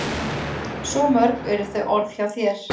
Svo mörg eru þau orð hjá þér.